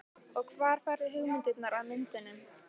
Og hvar færðu hugmyndirnar að myndunum?